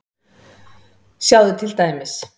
Sjáðu til dæmis